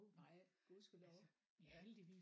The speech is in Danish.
Nej gudskelov ja